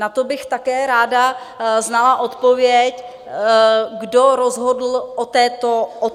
Na to bych také ráda znala odpověď, kdo rozhodl o této výši.